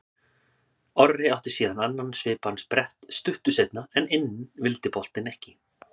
Orri átti síðan annan svipaðan sprett stuttu seinna en inn vildi boltinn ekki.